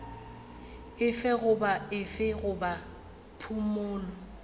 efe goba efe goba phumolo